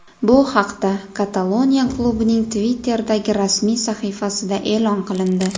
Bu haqda Kataloniya klubining Twitter’dagi rasmiy sahifasida e’lon qilindi .